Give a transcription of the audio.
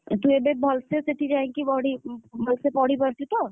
ତୁ ଏବେ ଭଲ୍ ସେ ସେଠି ଯାଇକି ପଢି~ ଭଲ୍ ସେ ପଢି ପାରୁଛୁ ତ?